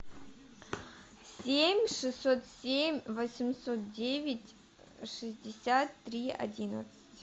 семь шестьсот семь восемьсот девять шестьдесят три одиннадцать